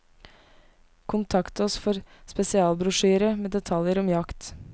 Kontakt oss for spesialbrosjyre med detaljer om jakt.